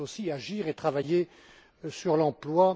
il faut aussi agir et travailler sur l'emploi.